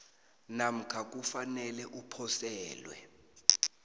namkha kufanele uposelwe